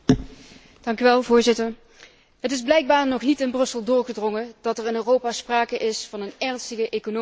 Voorzitter, het is blijkbaar nog niet in Brussel doorgedrongen dat er in Europa sprake is van een ernstige economische crisis.